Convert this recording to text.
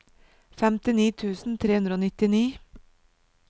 femtini tusen tre hundre og nittini